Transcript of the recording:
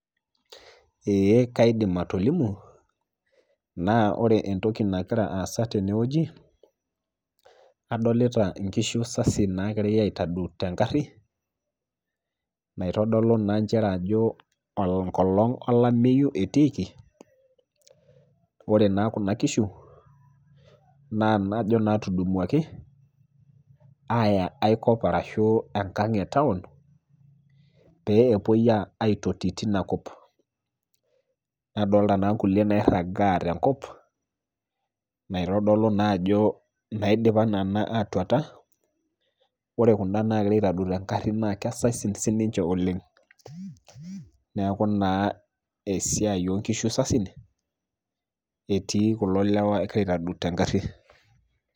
Eeh kaidim atolimu naa ore entoki nagira aasa tenewueji, asolita inkishu sasi naagirai aitadou tengarri naitodolu naa nchere ajo enkolong' olameyu etiiki, ore naa kuna kishu naa najo naatudumuaki aaya aikop arashuu enkang' e taun pee epuoi aitoti tinakop. Nadolta naa nkulie nairragaa tenkop naitodolu naajo naidipa nenaa atuata, ore kunda nagiraaitadoi tengarri naa kesasin sininche oleng'. Neaku naa esiai onkishu sasin etii kulo lewa egira aitadou tengarri.